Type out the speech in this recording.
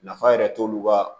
Nafa yɛrɛ t'olu ka